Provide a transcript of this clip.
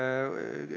Lugupeetud kolleegid!